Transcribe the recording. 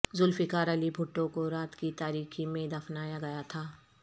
ذوالفقار علی بھٹو کو رات کی تاریکی میں دفنایا گیا تھا